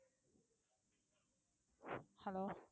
hello